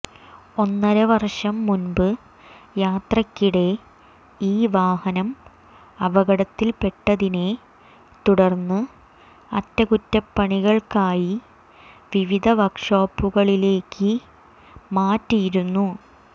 ഒന്നരവര്ഷം മുമ്പ് യാത്രക്കിടെ ഈ വാഹനം അപകടത്തില്പ്പെട്ടതിനെ തുടര്ന്ന് അറ്റകുറ്റപ്പണികള്ക്കായി വിവിധ വര്ക്ക്ഷോപ്പുകളിലേക്ക് മാറ്റിയിരുന്നു